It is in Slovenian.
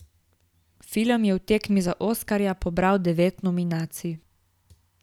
Film je v tekmi za oskarja pobral devet nominacij.